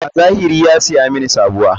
A zahiri ya saya mini sabuwa.